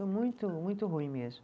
Muito, muito ruim mesmo.